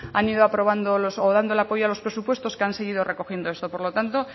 han ido aprobando o dando el apoyo a los presupuestos que han seguido recogiendo esto por lo tanto